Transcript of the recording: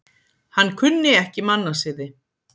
Hann kunni ekki mannasiði.